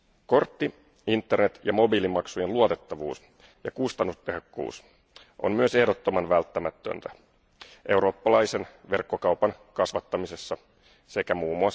Kortti Internet ja mobiilimaksujen luotettavuus ja kustannustehokkuus on myös ehdottoman välttämätöntä eurooppalaisen verkkokaupan kasvattamisessa sekä mm.